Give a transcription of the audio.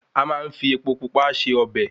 A máa ń fi epo Pupa se ọbẹ̀